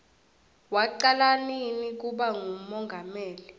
wacala nini kuba ngumongameli